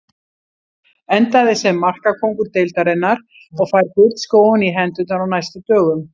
Endaði sem markakóngur deildarinnar og fær gullskóinn í hendurnar á næstu dögum.